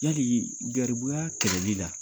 garibuya kɛlɛli la